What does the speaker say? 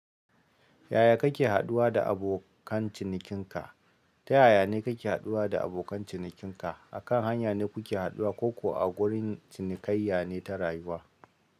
Yaya kake haɗuwa da abokan cinikinka? Ta yaya ne kake haɗuwa da abokan cinikinka? Akan hanya ne kuke haɗuwa ko kuwa a gurin cinikayya ne ta rayuwa?